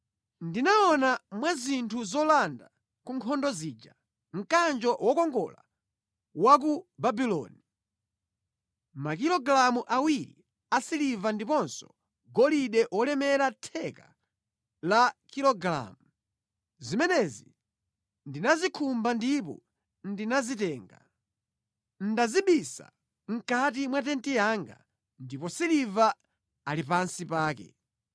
Ndinaona mwa zinthu zolanda ku nkhondo zija, mkanjo wokongola wa ku Babuloni, makilogalamu awiri a siliva ndiponso golide wolemera theka la kilogalamu. Zimenezi ndinazikhumba ndipo ndinazitenga. Ndazibisa mʼkati mwa tenti yanga, ndipo siliva ali pansi pake.”